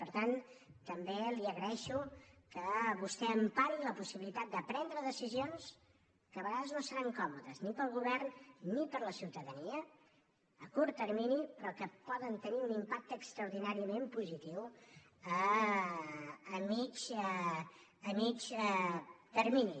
per tant també li agraeixo que vostè empari la possibilitat de prendre decisions que a vegades no seran còmodes ni per al govern ni per a la ciutadania a curt termini però que poden tenir un impacte extraordinàriament positiu a mitjà termini